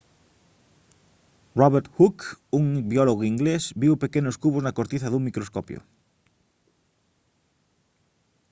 robert hooke un biólogo inglés viu pequenos cubos na cortiza cun microscopio